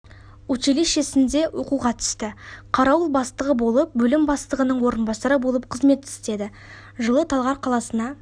училищесінде оқуға түсті қарауыл бастығы болып бөлім бастығынң орынбасары болып қызмет істеді жылы талғар қаласына